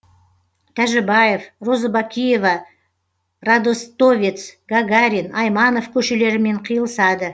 тәжібаев розыбакиева радостовец гагарин айманов көшелерімен қиылысады